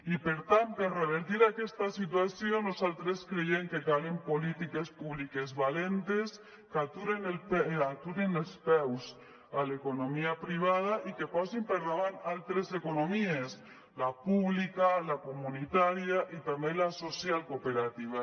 i per tant per revertir aquesta situació nosaltres creiem que calen polítiques públiques valentes que aturin els peus a l’economia privada i que posin per davant altres economies la pública la comunitària i també la social cooperativa